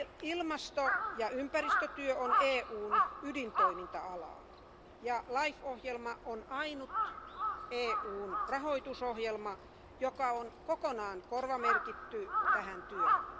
Ilmasto ja ympäristötyö on EUn ydintoiminta alaa ja LIFE ohjelma on ainut EUn rahoitusohjelma, joka on kokonaan korvamerkitty tähän työhön.